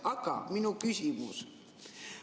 Aga minu küsimus.